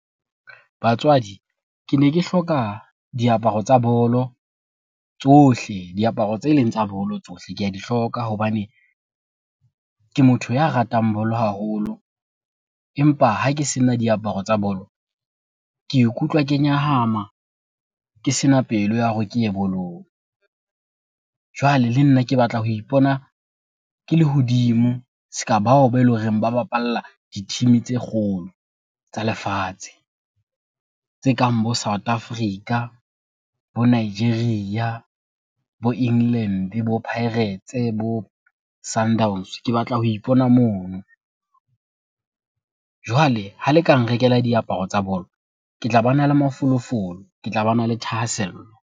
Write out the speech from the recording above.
Batswadi kene ke hloka diaparo tsa bolo tsohle, diaparo tse leng tsa bolo tsohle. Ke a di hloka hobane ke motho ya ratang bolo haholo empa ha ke sena diaparo tsa bolo, ke ikutlwa ke nyahama ke sena pelo ya hore ke ye bolong. Jwale le nna ke batla ho ipona ke lehodimo se ka bao bele horeng ba bapalla di-team-e tse kgolo tsa lefatshe. Tse kang bo South Africa, bo Nigeria, bo England, bo Pirates bo Sundowns, ke batla ho ipona mono. Jwale ha le ka nrekela diaparo tsa bolo, ke tla bana le mafolofolo, ke tla bana le thahasello.